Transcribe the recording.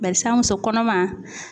Barisa muso kɔnɔman